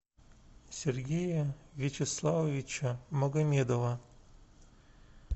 сергея вячеславовича магомедова